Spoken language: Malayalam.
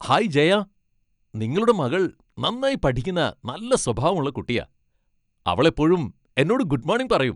ഹായ് ജയ, നിങ്ങളുടെ മകൾ നന്നായി പഠിക്കുന്ന നല്ല സ്വാഭാവമുള്ള കുട്ടിയാ. അവൾ എപ്പോഴും എന്നോട് ഗുഡ് മോണിംഗ് പറയും.